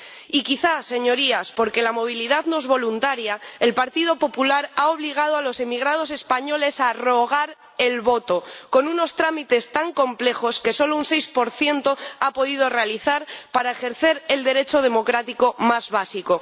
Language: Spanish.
Y quizá, Señorías, porque la movilidad no es voluntaria, el Partido Popular ha obligado a los emigrados españoles a rogar el voto con unos trámites tan complejos que solo un 6 los ha podido realizar para ejercer el derecho democrático más básico